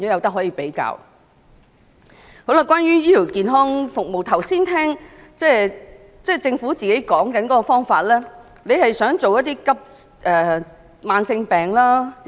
此外，關於醫療健康服務方面，剛才我聽到政府所說的方法似乎是想先處理一些慢性病。